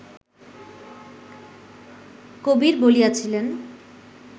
কবির বলিয়াছিলেন